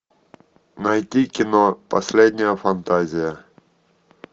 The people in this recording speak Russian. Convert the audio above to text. найди кино последняя фантазия